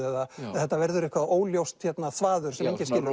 eða þetta verður eitthvað óljóst þvaður sem